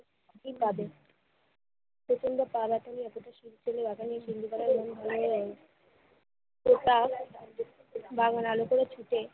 কি পাবে? প্রচন্ড পা ব্যথা নিয়ে তো তা বামুন আলুগুলো ছুতে